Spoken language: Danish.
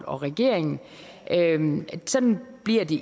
og regeringen sådan bliver det